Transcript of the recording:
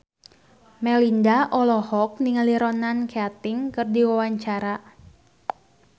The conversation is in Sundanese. Melinda olohok ningali Ronan Keating keur diwawancara